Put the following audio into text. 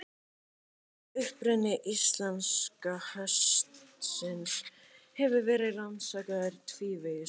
Uppruni íslenska hestsins hefur verið rannsakaður tvívegis.